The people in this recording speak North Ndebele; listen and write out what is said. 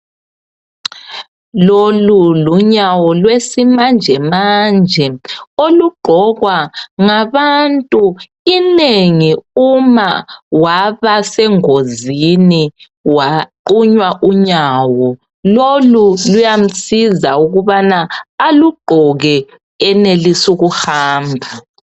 Lolu lunyawo lwesimanje manje olugqokwa ngabantu inengi uma wabasengozini waqunywa unyawo. Lolu luyamsiza ukubana alugqoke enelise ukuhamba.